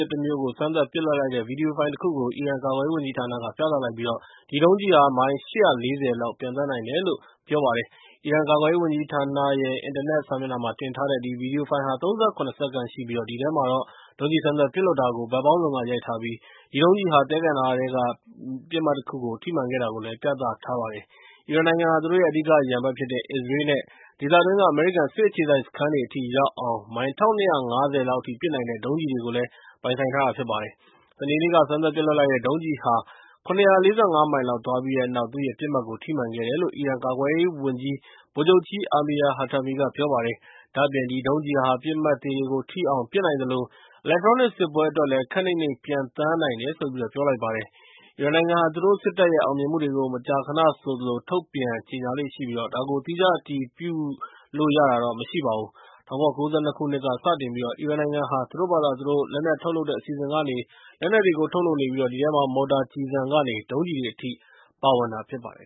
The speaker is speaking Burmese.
စ်တမျိုးကို စမ်းသပ်ပစ်လွှတ်လိုက်တဲ့ ဗွီဒီယိုဖိုင်တခုကို အီရန် ကာကွယ်ရေးဝန်ကြီးဌာနက ပြသလိုက်ပြီး အဲဒီဒုံးကျည်ဟာ မိုင် ၈၄၀ လောက် ပျံသန်းနိုင်တယ်လို့ ပြောပါတယ်။ အီရန်ကာကွယ်ရေးဝန်ကြီးဌာနရဲ့ အင်တာနက်စာမျက်နှာမှာတင်ထားတဲ့ ဗွီဒီယိုဖိုင်ဟာ ၃၇ စက္ကန့်ရှိပြီး အဲဒီ ထဲမှာ ဒုံးကျည်စမ်းသပ် ပစ်လွှတ်လိုက်တာကို ဘက်ပေါင်းစုံက ရိုက် ထားပြီးတော့ အဲဒီဒုံးကျည်ဟာ သဲကန္တာရ ထဲကနေ တနေရာရာကို ထိမှန်ခဲ့တာကို ပြသ ထားပါတယ်။ အီရန်နိုင်ငံဟာ သူတို့ရဲ့ အဓိကရန်ဘက်ဖြစ်တဲ့ အစ္စရေးလ်နဲ့ ဒေသတွင်းက အမေရိကန်စစ်အခြေစိုက်စခန်းတွေအထိရောက်အောင် မိုင် ၁၂၅၀ လောက်အထိ ပစ်နိုင်တဲ့ ဒုံးကျည်တွေကို ပိုင်ဆိုင်ထားတာဖြစ်ပါတယ်။ စနေနေ့က စမ်းသပ်ပစ်လွှတ်လိုက်တဲ့ ဒုံးကျည်သစ်ဟာ ၇၄၅ မိုင်လောက်သွားပြီး တဲ့ နောက် သူ့ရဲ့ ပစ်မှတ်ကို ထိမှန်ခဲ့တယ်လို့ အီရန်ကာကွယ်ရေးဝန်ကြီး ဗိုလ်ချုပ် Amir Hatami က ပြောပါတယ်။ ဒါ့အပြင် ဒီဒုံးကျည်ဟာ ပစ်မှတ်သေတွေကို ထိအောက် ပစ်နိုင် သလို အီလက်ထရောနစ်စစ်ပွဲအတွက်လည်း ခပ်နိမ့်နိမ့်ပျံသန်းနိုင်တယ်လို့ ပြော လိုက်ပါတယ်။ အီရန်နိုင်ငံဟာ သူတို့စစ်တပ်ရဲ့ အောင်မြင်မှုတွေကို မကြာခဏဆိုသလိုပဲ ထုတ်ပြန် ကြေညာလေ့ရှိပြီး ဒါကို သီးခြား အတည်ပြုလို့ ရတာတော့မရှိပါဘူး။ ၁၉၉၂ ခုနှစ်က စတင်ပြီး အီရန်နိုင်ငံဟာ သူတို့ဘာသာသူတို့ လက်နက်ထုတ်လုပ်တဲ့ အစီအစဉ်ကနေ လက်နက်တွေကို ထုတ်လုပ်နေပြီး အဲဒီထဲမှာ မော်တာကျည်ဆံတွေကနေ ဒုံးကျည်တွေ အထိ ပါဝင်တာဖြစ်ပါတယ်